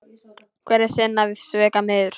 Hver er sinna svika smiður.